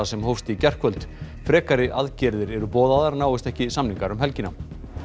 sem hófst í gærkvöld frekari aðgerðir eru boðaðar náist ekki samningar um helgina